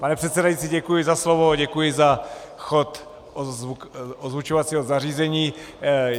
Pane předsedající, děkuji za slovo, děkuji za chod ozvučovacího zařízení.